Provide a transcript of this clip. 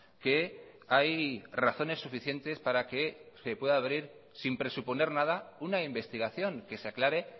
que hay razones suficientes para que se pueda abrir sin presuponer nada una investigación que se aclare